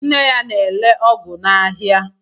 Nne ya na-ere ọgụ n'aha.